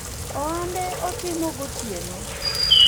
ohande otimo gotieno